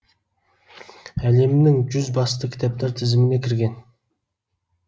әлемнің жүз басты кітаптар тізіміне кірген